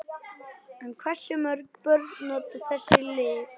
En hversu mörg börn nota þessi lyf?